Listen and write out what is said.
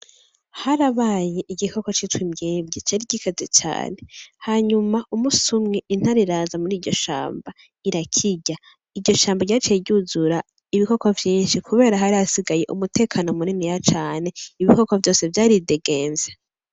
Harabaye igikoko citwa imbwebwe, cari gikaze cane, hanyuma umunsi umwe intare iraza muriryo shamba irakirya iryo shamba ryaciye ry'uzura ibikoko vyishi kubera hari hasigaye umutekano muniniya cane ibikoko vyaridegemvya.